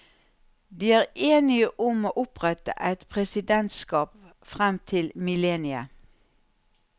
De er enige om å opprette et presidentskap frem til millenniet.